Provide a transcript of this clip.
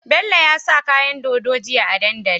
Bello ya sa kayan dodo jiya a dandali